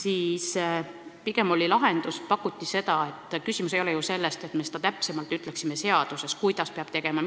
Asi ei ole selles, et me peaksime ütlema seaduses täpsemalt, kuidas ja mida peab tegema.